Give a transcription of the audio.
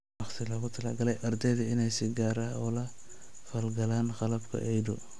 Waqti loogu talagalay ardayda inay si gaar ah ula falgalaan qalabka EIDU.